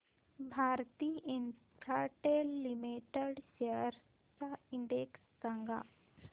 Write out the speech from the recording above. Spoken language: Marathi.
भारती इन्फ्राटेल लिमिटेड शेअर्स चा इंडेक्स सांगा